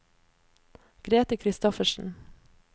Grete Christoffersen